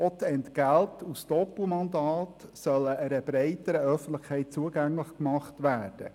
Auch die Entgelte aus Doppelmandaten sollen einer breiteren Öffentlichkeit zugänglich gemacht werden.